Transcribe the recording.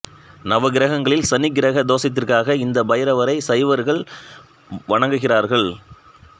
நவகிரகங்களில் சனி கிரக தோசத்திற்காக இந்த பைரவரை சைவர்கள் வணங்குகிறார்கள்